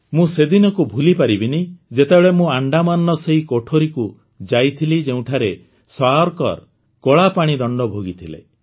ମୁଁ ସେଦିନକୁ ଭୁଲିପାରିବିନି ଯେତେବେଳେ ମୁଁ ଆଣ୍ଡାମାନର ସେହି କୋଠରୀକୁ ଯାଇଥିଲି ଯେଉଁଠାରେ ସାୱରକର କଳାପାଣି ଦଣ୍ଡ ଭୋଗିଥିଲେ